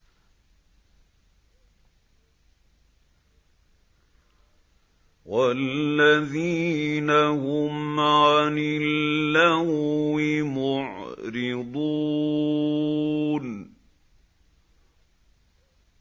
وَالَّذِينَ هُمْ عَنِ اللَّغْوِ مُعْرِضُونَ